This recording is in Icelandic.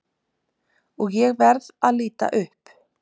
Og ég verð að líta upp.